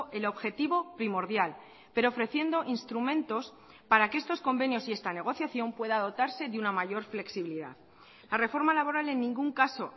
el objetivo primordial pero ofreciendo instrumentos para que estos convenios y esta negociación pueda dotarse de una mayor flexibilidad la reforma laboral en ningún caso